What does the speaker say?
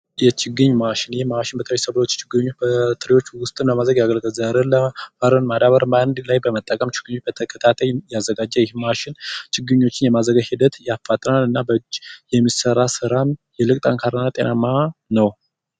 የችግኝ ማሽን ይህ ማሽን በተለይ ሰብሎች ችግኞች በትሪወች ዉስጥ ለማዘዝ ያገለግላል። ዘርን አረምን በአንድ ላይ ለመጠቀም ችግኙን በተከታታይ ያዘጋጀ ይህ ማሽን ችግኛችን የማዘጋጀት ሂደት ያፋጥናል እና በእጅ የሚሰራ ስራ ይልቅ ጠንካራ ጤናማ ነዉ።